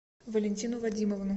валентину вадимовну